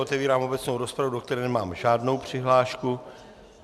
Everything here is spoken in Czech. Otevírám obecnou rozpravu, do které nemám žádnou přihlášku.